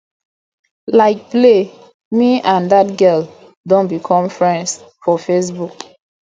like play me and dat girl don become friends for facebook